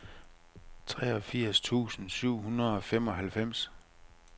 treogfirs tusind syv hundrede og femoghalvfems